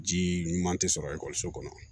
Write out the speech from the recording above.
Ji ɲuman tɛ sɔrɔ ekɔliso kɔnɔ